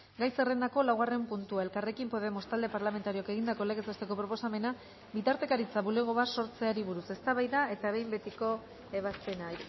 gai zerrendako laugarren puntua elkarrekin podemos talde parlamentarioak egindako legez besteko proposamena bitartekaritza bulego bat sortzeari buruz eztabaida eta behin betiko ebazpena